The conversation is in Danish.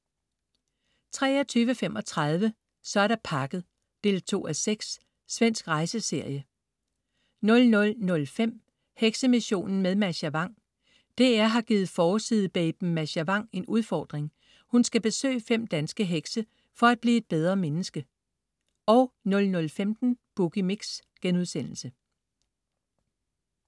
23.35 Så er der pakket 2:6. Svensk rejseserie 00.05 Heksemissionen med Mascha Vang. DR har givet forside-baben Mascha Vang en udfordring. Hun skal besøge fem danske hekse for at blive et bedre menneske 00.15 Boogie Mix*